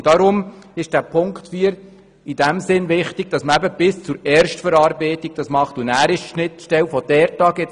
Darum ist die Auflage 4 in dem Sinn wichtig, dass man die Schnittstelle nach der Erstverarbeitung definiert.